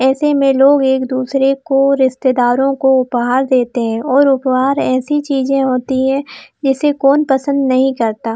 ऐसे में लोग एक दूसरे को रिश्तेदारों को उपहार देते है और उपहार ऐसी चीज होती है जिसे कौन पसंद नहीं करता।